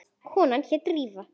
Konan hét Drífa.